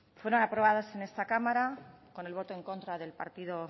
fueron aprobadas en esta cámara con el voto en contra del partido